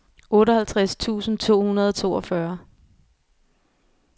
otteoghalvtreds tusind to hundrede og toogfyrre